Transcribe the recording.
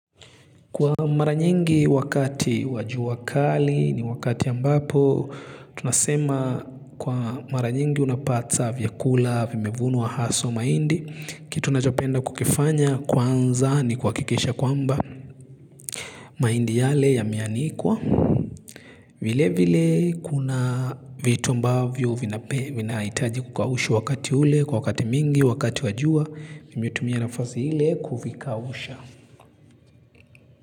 Kwa mara nyingi wakati wa jua kali ni wakati ambapo tunasema kwa mara nyingi unapata vyakula vimevunwa haswa mahindi kitu ninachopenda kukifanya kwanza ni kuhakikisha kwamba mahindi yale yameanikwa. Vile vile kuna vitu ambavyo vinahitaji kukaushwa wakati ule kwa wakati mingi wakati wa jua vimetumia nafasi ile kuvikausha.